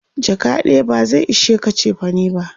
jaka ɗaya ba zai ishe ka chefane ba